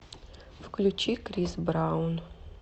включи крис браун